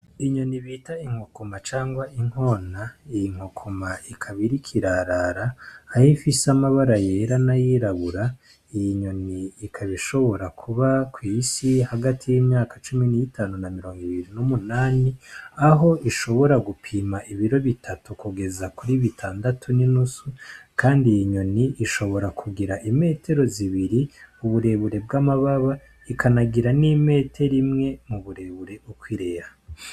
Inyoni bita inkokoma cangwa inkona iyi nkokoma ikaba iri kwarara, aho ifise amabara yera nayirabura iyi nyoni ikabishobora kuba kw'isi hagati y'imyaka cumi n'itanu na mirongo ibiri n'umunani aho ishobora gupima ibiro bitatu kugeza kuri bitandatu n'inusu, kandi iyi nyoni ishobora kugira imetero zibiri uburebure bw'amababa ikanagira n'imetero imwe mu burebure uko ireha.